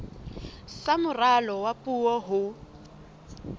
sa moralo wa puo ho